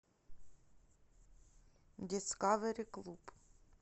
дискавери клуб